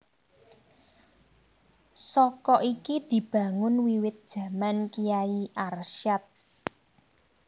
Saka iki dibangun wiwit jaman Kyai Arsyad